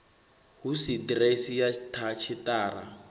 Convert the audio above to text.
hu si ḓiresi ya tshiṱara